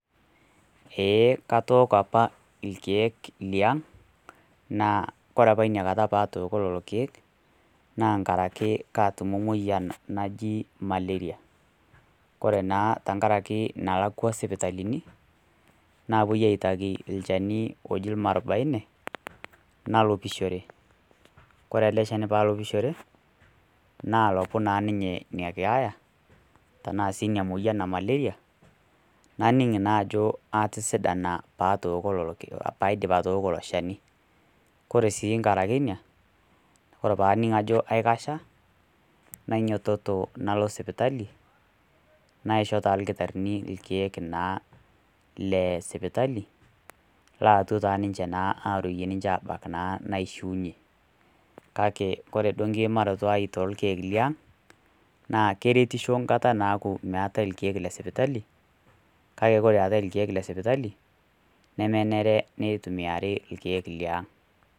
Eeh, katooko opa ilkeek liaang', naa ore apa patooko lelo keek, naa nkaraki naatutumo moian naji malaria, kore naa nkaraki nalakwa sipitalini, naapuoi aitaki olchani oji Olmwarubaine, nalopishore, kore ele shani paa alopishore, naalopu naa ninye ina keeya tanaa sii ina moyian e malaria, naning naa ajo atisidana paa aidip atooko ilo shani. Kore sii nkarake inia, kore pee aning ajo aikasha, nainyototo nalo sipitali, naishoo naa ilkitarini ilkeek naa le sipitali laetwo naa ninche naa ninche aruiye naa abak naa naishuunye, kake kore duo nkiimarato ai toolkeek le aang' naa keretisho nkata naaku meatai ilkeek le sipitali, kake ore eatai ilkeek le sipitali, nmenare nitumiari ilkeek le aang'.